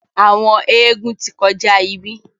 àwọn eégún tí kọjá ibí.